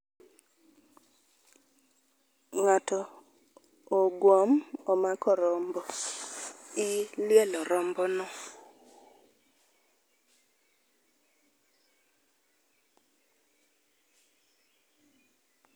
Ng'ato oguom omako rombo, ilielo rombono.